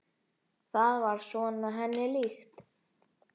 Það er svona henni líkt.